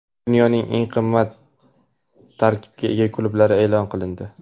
Dunyoning eng qimmat tarkibga ega klublari e’lon qilindi.